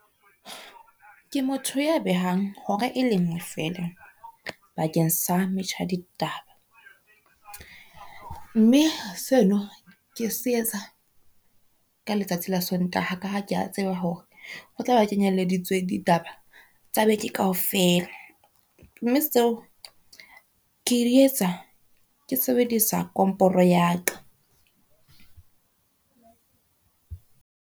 Ke motho ya behang hora e lengwe fela bakeng sa metjha ya ditaba, mme seno ke se etsa ka letsatsi la Sontaha ka ha ke a tseba hore ho tlabe ho kenyeleditswe ditaba tsa beke kaofela, mme tseo ke di etsa ke sebedisa komporo ya ka.